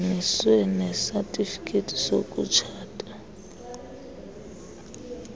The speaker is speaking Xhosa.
kungeniswe nesatifiketi sokutshata